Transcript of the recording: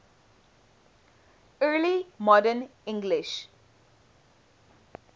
early modern english